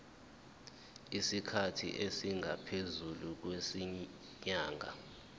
isikhathi esingaphezulu kwezinyanga